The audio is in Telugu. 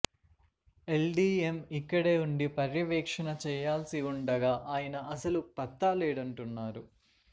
ఎల్డిఎం ఇక్కడే ఉండి పర్యవేక్షణ చేయాల్సి ఉండగా ఆయన అసలు పత్తాలేడంటున్నారు